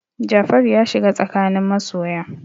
Jafaru ya shiga tsakanin masoya.